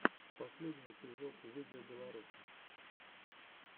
последний эпизод видеобеларуса